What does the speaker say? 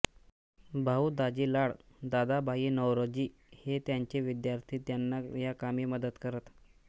भाऊ दाजी लाड दादाभाई नौरोजी हे त्यांचे विद्यार्थी त्यांना या कामी मदत करत